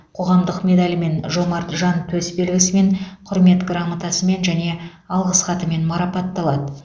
қоғамдық медалімен жомарт жан төсбелгісімен құрмет грамотасымен және алғыс хатымен марапатталады